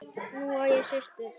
Nú á ég systur.